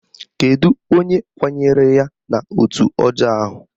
Kedu onye kwanyere ya n'otu ọjọọ ahụ?